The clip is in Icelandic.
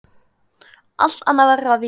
Allt annað verður að víkja.